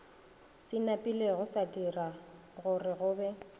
se napilego sadira gorego be